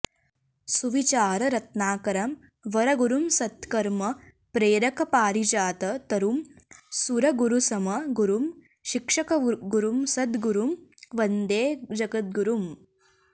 सुविचार रत्नाकरं वरगुरुं सत्कर्म प्रेरक पारिजात तरुं सुरगुरुसम गुरुं शिक्षकगुरुं सद्गुरुं वन्दे जगद्गुरुम्